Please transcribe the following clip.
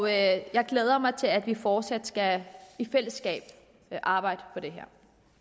jeg glæder mig til at vi fortsat skal arbejde for det